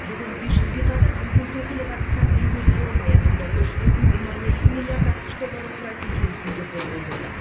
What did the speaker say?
бүгін бес жүзге тарта бизнес өкілі қатысқан бизнес форум аясында үш бүтін оннан екі миллиард ақш долларын құрайтын келісімге қол қойылды